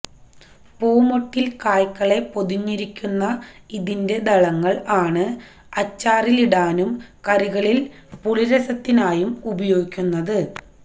പൂമൊട്ടില് കായ്കളെ പൊതിഞ്ഞിരിക്കുന്ന ഇതിന്റെ ദളങ്ങള് ആണ് അച്ചാറിടാനും കറികളില് പുളിരസത്തിനായും ഉപയോഗിക്കുന്നത്